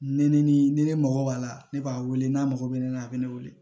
Ni ne ni ne mago b'a la ne b'a wele n'a mago bɛ ne la a bɛ ne wele